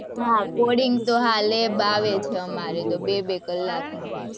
હા, coding તો હા, lab આવે છે, અમારે, બે બે કલાકની